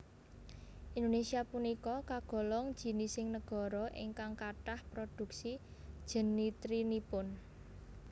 Indonesia punika kagolong jinising negara ingkang kathah produksi jenitrinipun